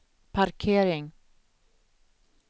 parkering